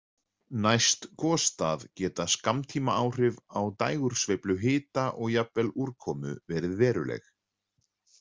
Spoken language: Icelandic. Næst gosstað geta skammtímaáhrif á dægursveiflu hita og jafnvel úrkomu verið veruleg.